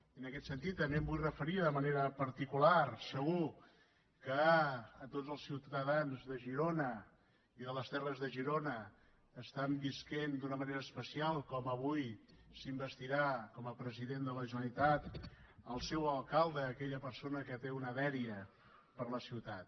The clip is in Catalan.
i en aquest sentit també em vull referir de manera particular segur a tots els ciutadans de girona i de les terres de girona que estan vivint d’una manera especial com avui s’investirà com a president de la generalitat el seu alcalde aquella persona que té una dèria per la ciutat